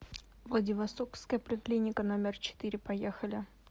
владивостокская поликлиника номер четыре поехали